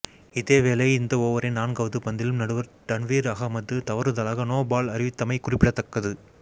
இதேவேளை இந்த ஓவரின் நான்காவது பந்திலும் நடுவர் டன்வீர் அகமட் தவறுதலாக நோபோல் அறிவித்தமை குறிப்பிடத்தக்கது